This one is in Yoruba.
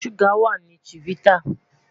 Suga wa ni chivita